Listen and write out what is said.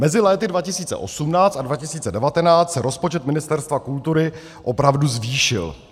- Mezi lety 2018 a 2019 se rozpočet Ministerstva kultury opravdu zvýšil.